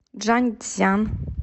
чжаньцзян